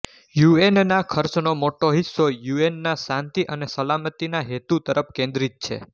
યુએનના ખર્ચનો મોટો હિસ્સો યુએનના શાંતિ અને સલામતીના હેતુ તરફ કેન્દ્રિત છે